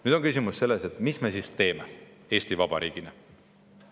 Nüüd on küsimus selles, mis me siis teeme Eesti Vabariigina.